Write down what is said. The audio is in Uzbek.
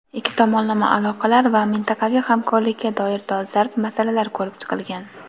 ikki tomonlama aloqalar va mintaqaviy hamkorlikka doir dolzarb masalalar ko‘rib chiqilgan.